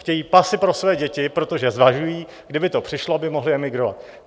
Chtějí pasy pro své děti, protože zvažují, kdyby to přišlo, aby mohli emigrovat.